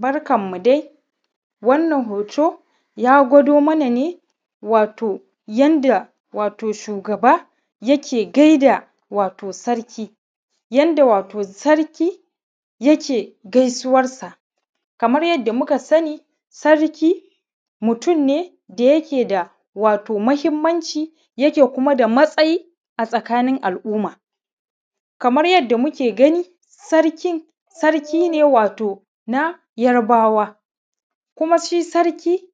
Barkanmu dai, wannan hoto ya gwado mana ne, wato yadda wato shugaba yake gaida wato sarki yadda wato sarki yake gaisuwansa. Kamar yadda muka sani, sarki mutum ne da yake da wato muhimmanci, yake kuma da matsayi a tsakanin al’umma. Kamar yadda muke gani, sarkin sarki ne na Yarbawa, kuma shi sarki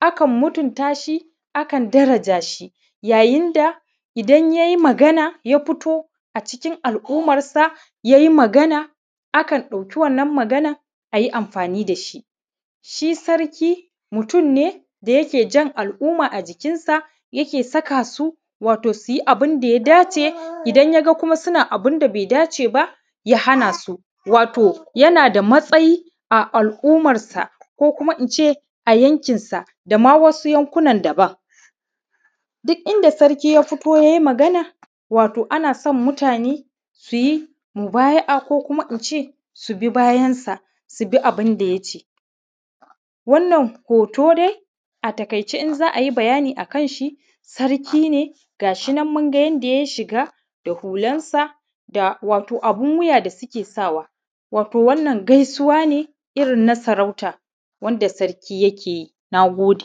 akan mutunta shi, akan daraja shi. Yayin da ya yi magana, ya fito a cikin al’ummansa, ya yi magana akan ɗauki wannan maganar ayi amfani da shi. Shi sarki mutum ne da yake jan al’uma a jikinsa, yake sakasu wato su yi abun da ya dace. Idan kuma ya ga su na yin abun da ba ya dace ba, ya hana su. Wato yana da matsayi a al’ummansa, ko kuma in ce a yanƙinsa, da ma wasu yanƙunan daban. Duk inda sarki ya fito, ya yi magana, wato ana so mutane su yi mubaya’a, ko kuma in ce su bi bayansa, su bi abun da ya ce. Wannan hoto dai a taƙaice, in za a yi bayani akan shi, sarki ne ga yi nan, mun ga yadda ya yi shiga da hulansa, da wato abun wuya da suke sawa. Wato wannan gaisuwa ce irin na sarauta wanda sarki yake yi. Na gode.